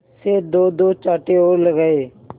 से दोदो चांटे और लगाए